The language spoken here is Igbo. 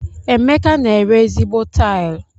Emeka n'ere ezigbo tilu.